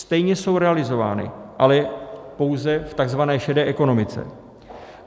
Stejně jsou realizovány, ale pouze v tzv. šedé ekonomice.